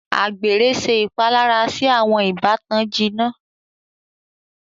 Àgbèrè ṣe ìpalára sì awọn ìbátan jìnnà.